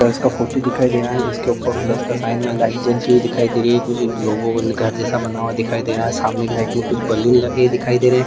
Church का photo दिखाई दे रहा है जिसके ऊपर प्लस का साइन बना है लाइट जलती हुई दिखाई दे रही है कुछ लोगो को घर जैसा बना हुआ दिखाई दे रहा है सामने की साइड पे कुछ बैलून लगे हुए दिखाई दे रहे हैं।